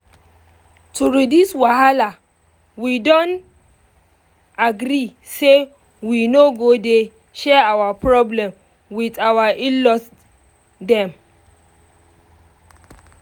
to reduce wahala we don agree say we no go dey share our problem with our in-laws dem